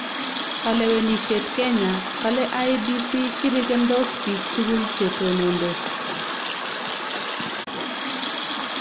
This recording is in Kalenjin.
Kalewenisyet Kenya: Kale IEBC shirikindos biik tugul che tonondos